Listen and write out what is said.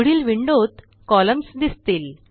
पुढील विंडोत कॉलम्न्स दिसतील